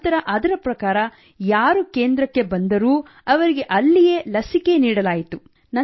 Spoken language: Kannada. ನಂತರ ಅದರ ಪ್ರಕಾರ ಯಾರು ಕೇಂದ್ರಕ್ಕೆ ಬಂದರೂ ಅವರಿಗೆ ಅಲ್ಲಿಯೇ ಲಸಿಕೆ ನೀಡಲಾಯಿತು